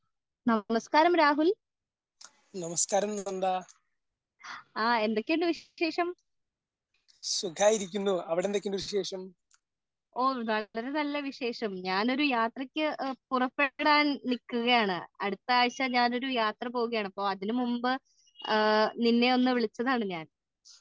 hello നമസ്കാരം രാഹുൽ ആ എന്തൊക്കെ ഉണ്ട് വിശേഷം ഓ വളരെ നല്ല വിശേഷം ഞാൻ ഒരു യാത്രക് പുറപ്പെടാൻ നിക്കുകയാണ്‌ അടുത്ത ആഴ്ച ഞാൻ ഒരു യാത്ര പോവുകയാണ് അപ്പൊ അതിനു മുമ്പ് നിന്നെ ഒന്ന് വിളിച്ചതാണ് ഞാൻ